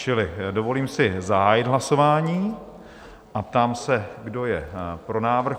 Čili dovolím si zahájit hlasování a ptám se, kdo je pro návrh?